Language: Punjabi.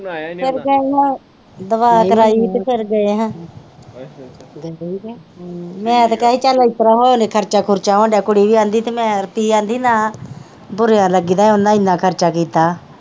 ਫਿਰ ਗਈ ਹਾਂ ਦੁਆ ਕਰਾਈ ਹੀ ਤੇ ਫਿਰ ਗਏ ਹਾਂ ਮੈ ਤੇ ਕਹਿਆ ਹੀ ਚਲ ਇਸਤਰਾਂ ਹੋ ਲੈ ਖਰਚਾ ਖੁਰਚਾ ਹੋਣ ਦਿਆ ਕੁੜੀ ਵੀ ਆਂਦੀ ਤੇ ਮੈ ਫਿਰ ਕਿ ਆਂਦੀ ਨਾ ਬੁਰਿਆਂ ਲੱਗੀ ਦਾ ਉਹਨਾਂ ਇਹਨਾਂ ਖਰਚਾ ਕੀਤਾ ਆ।